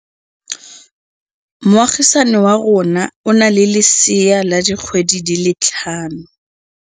Moagisane wa rona o na le lesea la dikgwedi tse tlhano.